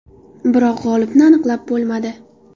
Biroq g‘olibni aniqlab bo‘lmadi.